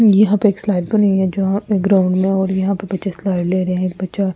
यहां पे एक स्लाइड बनी हुई है जो एक ग्राउंड में और यहां पे बच्चा स्लाइड ले रहे हैं एक बच्चा --